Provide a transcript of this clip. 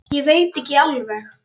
Ég veit ekki alveg.